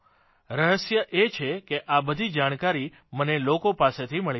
રહસ્ય એ છે કે આ બધી જાણકારી મને લોકો પાસેથી મળી રહી છે